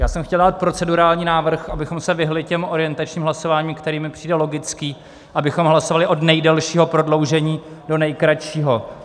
Já jsem chtěl dát procedurální návrh, abychom se vyhnuli těm orientačním hlasováním, který mi přijde logický, abychom hlasovali od nejdelšího prodloužení do nejkratšího.